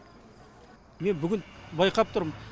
мен бүгін байқап тұрмын